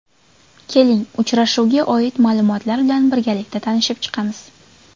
Keling uchrashuvga oid ma’lumotlar bilan birgalikda tanishib chiqamiz.